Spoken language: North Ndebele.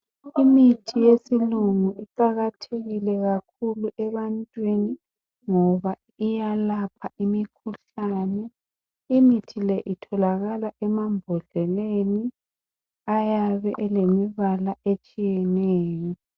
Imithi yesilungu iqakathekile kakhulu ebantwini ngoba iyalapha imikhuhlane. Imithi le itholakala emambodleleni ayabe elemibala etshiyeneyo .